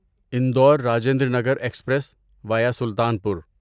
Indore Rajendranagar express via Sultanpur